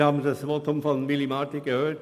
Wir haben das Votum von Willy Marti gehört.